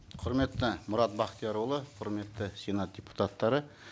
құрметті мұрат бақтиярұлы құрметті сенат депутаттары